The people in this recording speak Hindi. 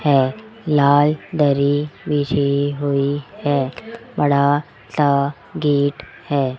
ये लाल दरी बिछी हुई है बड़ा सा गेट है।